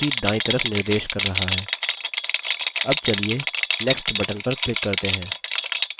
अब चलिए नीचे next button पर click करते हैं